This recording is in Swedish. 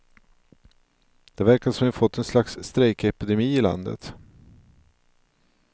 Det verkar som om vi fått en slags strejkepidemi i landet.